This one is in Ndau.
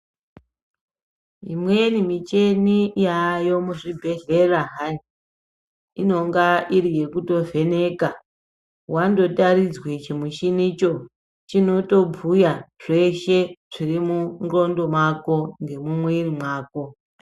Imweni micheni yayo mu zvibhedhlera hai inonga iri yekuto vheneka wando taridzwe chi mushini cho chinoto bhuya zveshe zviri mu ndxondo mako nge mu mwiri mwako.